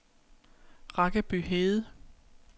Rakkeby Hede